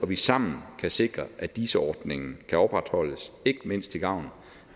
vi sammen kan sikre at dis ordningen kan opretholdes ikke mindst til gavn